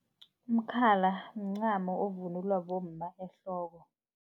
Umkhala mncamo ovunulwa bomma ehloko.